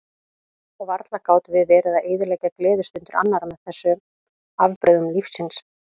Og varla gátum við verið að eyðileggja gleðistundir annarra með þessum afbrigðum lífsins.